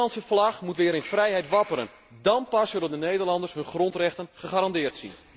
De Nederlandse vlag moet weer in vrijheid wapperen, dan pas zullen de Nederlanders hun grondrechten gegarandeerd zien.